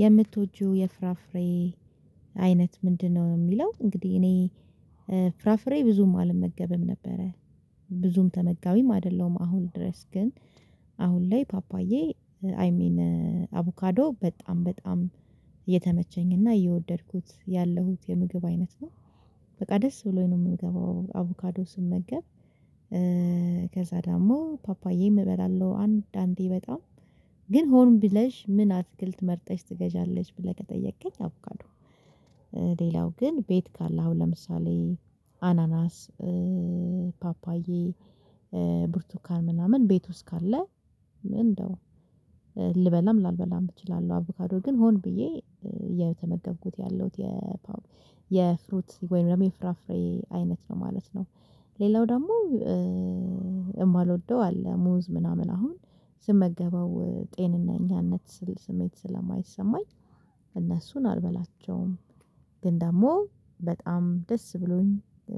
የምትወጂው የፍራፍሬ አይነት ምንድነው? የሚለው እንግዲህ እኔ ፍራፍሬ ብዙም አልመገብም ነበረ ብዙም ተመጋቢም አይደለም አሁን ድረስ። ግን አሁን ላይ ፓፓዬ አይ ሚን አቮካዶ በጣም በጣም የተመቸኝ እና የወደድኩት ያለሁት የምግብ አይነት ነው። በቃ ደስ ብሎኝ ነው የምገባው አቮካዶ ስመገብ። ከዛ ደግሞ ፓፓዬ እበላለሁ አንድ አንዴ በጣም። ግን ሆን ብለሽ ምን አትክልት መርጠሽ ትገዣለች ብለሽ ከጠየቅከኝ አቨካዶ። ሌላው ግን ቤት ካለ አሁን ለምሳሌ አናናስ፣ ፓፓዬ፣ ብርቱካን ምናምን ቤት ውስጥ ካለ እንደው ልበላም ላልበላም እችላለሁ። አቮካዶ ግን ሆን ብዬ የተመገብኩት ያለሁት የፍሩት ወይም ደግሞ የፍራፍሬ አይነት ነው ማለት ነው። ሌላው ደግሞ የማልወደው አለ። ሙዝ ምናምን አሁን ስመገበው ጤነኛነት ስሜት ስለማይሰማኝ እነሱን አልበላቸውም። ግን ደግሞ በጣም ደስ ብሎኝ